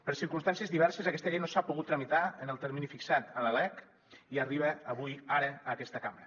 per circumstàncies diverses aquesta llei no s’ha pogut tramitar en el termini fixat a la lec i arriba avui ara a aquesta cambra